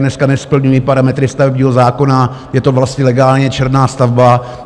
Dneska nesplňují parametry stavebního zákona, je to vlastně legálně černá stavba.